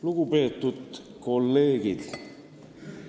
Lugupeetud kolleegid!